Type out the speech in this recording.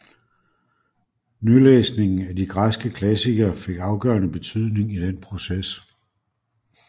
Nylæsningen af de græske klassikere fik afgørende betydning i den proces